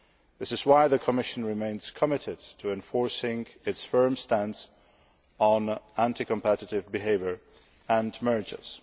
This is why the Commission remains committed to enforcing its firm stance on anti competitive behaviour and mergers.